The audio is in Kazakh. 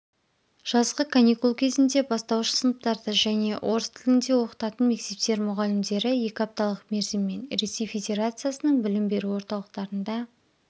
жазғы каникул кезінде бастауыш сыныптарды және орыс тілінде оқытатын мектептер мұғалімдері екі апталық мерзіммен ресей федерациясының білім беру орталықтарында